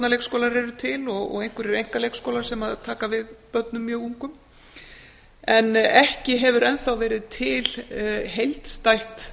ungbarnaleikskólar eru til og einhverjir einkaleikskólar sem taka við börnum mjög ungum en ekki hefur enn þá til heildstætt